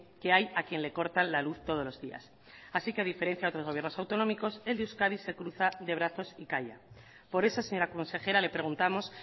que hay a quien le cortan la luz todos los días así que a diferencia de otros gobiernos autonómicos el de euskadi se cruza de brazos y calla por eso señora consejera le preguntamos